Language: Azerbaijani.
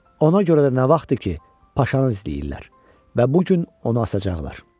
Ona görə də nə vaxtdır ki, paşanı izləyirlər və bu gün onu asacaqlar.